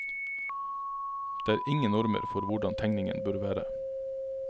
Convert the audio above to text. Det er ingen normer for hvordan tegningen bør være.